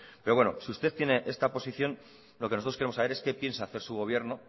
si usted tiene esta posición lo que nosotros queremos saber es qué piensa hacer su gobierno